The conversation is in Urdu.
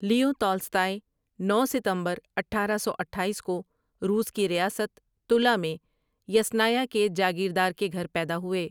لیو تالستائی نو ستمبر اٹھارہ سو اٹھایس کو روس کی ریاست تُلّا میں یسنایا کے جاگیردار کے گھر پیدا ہوئے ۔